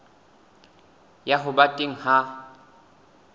ya ho ba teng ha